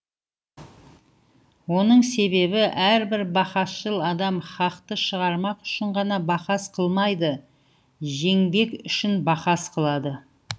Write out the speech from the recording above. оның себебі әрбір бахасшыл адам хақты шығармақ үшін ғана бахас қылмайды жеңбек үшін бахас қылады